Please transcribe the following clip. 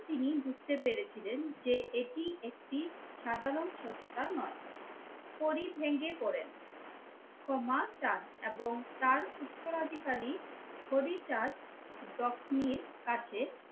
তিনি বুঝতে পেরেছিলেন যে এটি একটি সাধারণ সত্ত্বা নয়। পরে ভেঙে পড়েন এবং ক্ষমা চান এবং তার উত্তরাধিকারী হরিচাঁদ কাছে